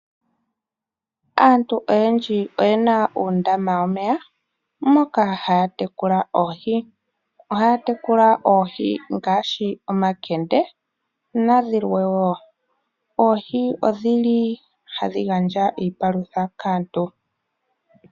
Aantu oyendji oye na uundama womeya, moka haya tekula oohi. Ohaya tekula oohi ngaashi omankende, nadhilwe wo. Oohi odhi li hadhi gandja iipalutha kaantu.